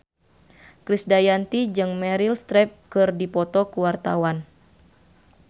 Krisdayanti jeung Meryl Streep keur dipoto ku wartawan